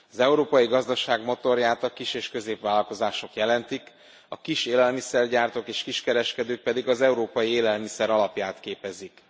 Az európai gazdaság motorját a kis és középvállalkozások jelentik, a kis élelmiszergyártók és kiskereskedők pedig az európai élelmiszer alapját képezik.